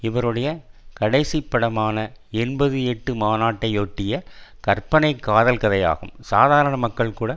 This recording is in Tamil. இவருடைய கடைசிப் படமான என்பது எட்டு மாநாட்டையொட்டிய கற்பனை காதல் கதையாகும் சாதாரண மக்கள்கூட